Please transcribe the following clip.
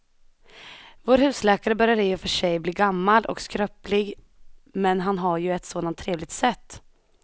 Vår husläkare börjar i och för sig bli gammal och skröplig, men han har ju ett sådant trevligt sätt!